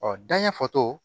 Ɔ danɲɛ fɔto